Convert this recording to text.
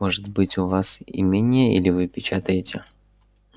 может быть у вас имение или вы печатаете